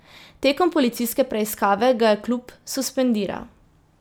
Tekom policijske preiskave ga je klub suspendiral.